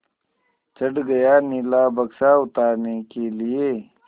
चढ़ गया नीला बक्सा उतारने के लिए